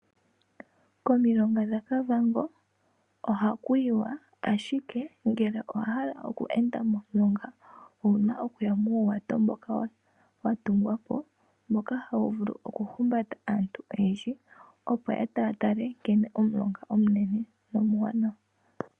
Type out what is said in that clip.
Komilonga dhaKAvango ohaku yiwa, ashike ngele owa hala oku enda momulonga owu na okuya muuwato mboka wa tungwa po, mboka hawu vulu okuhumbata aantu oyendji, opo ya tale nkene omulonga omunene nomuwanawa.